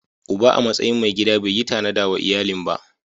Uba a matsayin mai gida bai yi tanada wa iyalin ba.